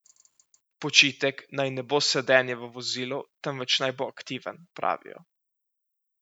Počitek naj ne bo sedenje v vozilu, temveč naj bo aktiven, pravijo.